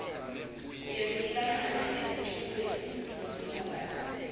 yekuhlangana emculweni yemphakasi